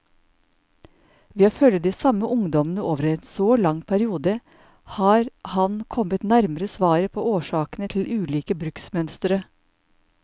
Ved å følge de samme ungdommene over en så lang periode, har han kommet nærmere svaret på årsakene til ulike bruksmønstre.